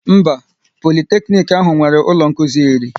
Mba, Politeknic ahụ nwere ụlọ nkụzi iri